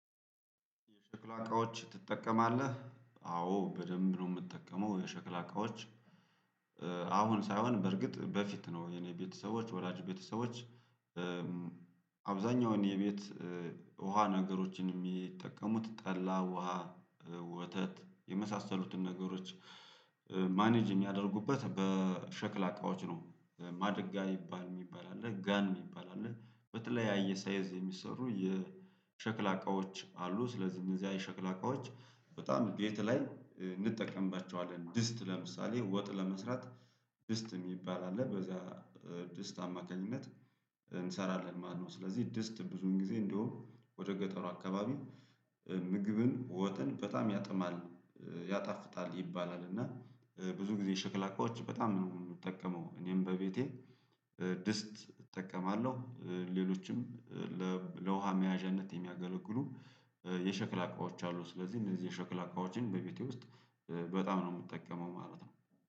የሸክላ እቃዎች ትጠቀማለህ አዎ በደንብ ነው የምትጠቀመው የሸክላ እቃዎች። አሁን ሳይሆን በርግጥ በፊት ነው የኔ ቤተሰቦች ወላጅ ቤተሰቦች አብዛኛውን የቤት ውሃ ነገሮችን የሚጠቀሙት ጠላ ውሃ ወተት የመሳሰሉትን ነገሮች። ማኔጅ የሚያደርጉበት በሸክላ እቃዎች ነው ማድጋ የሚባል የሚባል አለ ጋን የሚባል አለ በተለይ ያ ሳይዝ የሚሰሩ የሸክላ እቃዎች አሉ። ስለዚህ እነዚያ የሸክላ እቃዎች በጣም ቤት ላይ እንጠቀምባቸዋለን ድስት ለምሳሌ ወጥ ለመስራት ድስት የሚባል አለ በዛ ድስት አማካኝነት እንሰራለን ማለት ነው። ስለዚህ ድስት ብዙን ጊዜ እንደውም ወደ ገጠሩ አካባቢ ምግብን ወጥን በጣም ያጥማል ያጣፍጣል ይባላል። እና ብዙ ጊዜ የሸክላ እቃዎች በጣም ነው የምንጠቀመው እኔም በቤቴ ድስት እጠቀማለሁ። ሌሎችም ለውሃ መያዣነት የሚያገለግሉ የሸክላ አቋዎች አሉ። ስለዚህ እነዚህ የሸክላ አቃዎችን በቤቴ ውስጥ በጣም ነው የምጠቀመው ማለት ነው